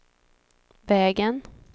vägen